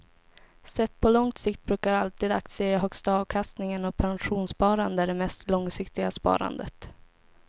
Sett på lång sikt brukar alltid aktier ge högsta avkastningen och pensionssparande är det mest långsiktiga sparandet.